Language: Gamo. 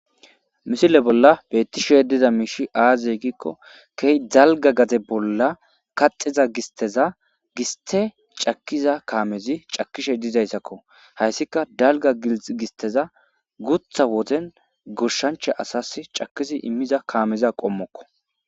misile bolla beettishe diza miishi aazey gikko key dalga gaze bolla kaxiza gisteza giste cakiza kaamezi cakishe dizayssakko hayssika dalga gisteza gutha wozen gurshanche asas cakizi immiza kaameza qommokko